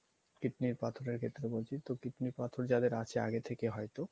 kidney র পাথরের ক্ষেত্রে বলছি, kidney পাথর যাদের আছে আগে থেকে হয়তো